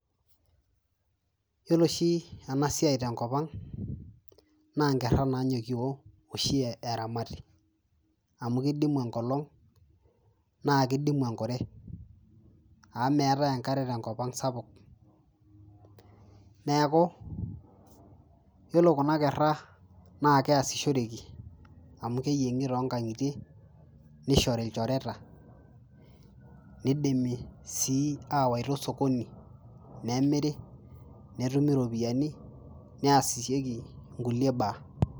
yiolo oshi enasiai tenkop ang naa inkerra nanyokio oshi eramati amu kidimu enkolong naa kidimu enkure amu meetae enkare tenkop ang sapuk neeku yiolo kuna kerra naa keasishoreki amu keyieng'i tonkang'itie nishori ilchoreta nidimi sii awaita osokoni nemiri netumi iropiyiani niasieki inkulie baa.